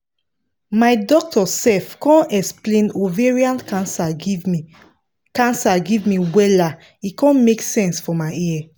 my doctor sef con explain ovarian cancer give me cancer give me wella e con make sense for my ear